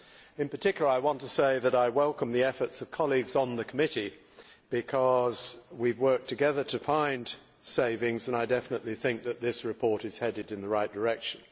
In particular I want to say that I welcome the efforts of colleagues on the committee because we have worked together to find savings and I definitely think that this report is headed in the right direction.